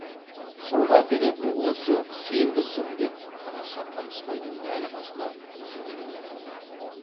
соны әперетін осы сенбісің деп қараша қамысбайдың дәл қасына жүгіне отырды